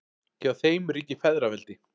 Hjá þeim ríkir feðraveldi.